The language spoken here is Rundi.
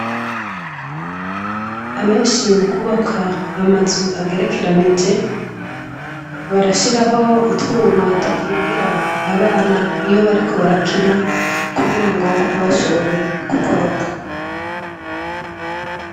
Abanshi mukubaka amazy agerekeranije, barashiraho utwuma dukingira abana iyo bariko barakina kugirango ntibashobore gukoraka.